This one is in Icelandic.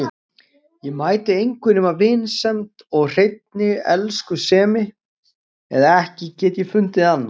Ég mæti engu nema vinsemd eða hreinni elskusemi, eða ekki get ég fundið annað.